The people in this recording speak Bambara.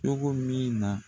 Cogo min na.